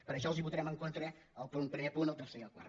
per això els votarem en contra el primer punt el ter·cer i el quart